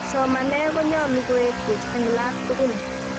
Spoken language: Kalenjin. somanee ko nyoluu koek buch en laak tukul